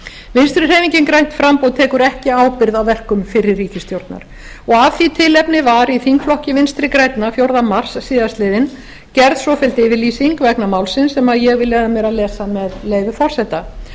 vinstri hreyfingin grænt framboð tekur ekki ábyrgð á verkum fyrri ríkisstjórnar og af því tilefni var í þingflokki vinstri grænna fjórða mars síðastliðinn gerð svofelld yfirlýsing vegna málsins sem ég vil leyfa mér að lesa með leyfi forseta